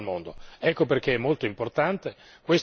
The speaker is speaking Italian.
La peggiore competizione che si possa fare al mondo!